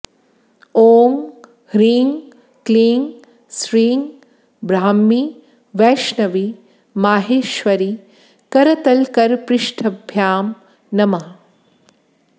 ॐ ह्रीं क्लीं श्रीं ब्राह्मी वैष्णवी माहेश्वरी करतलकरपृष्ठाभ्यां नमः